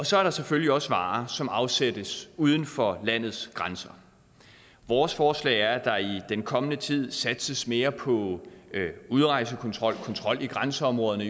så er der selvfølgelig også varer som afsættes uden for landets grænser vores forslag er at der i den kommende tid satses mere på udrejsekontrol kontrol i grænseområderne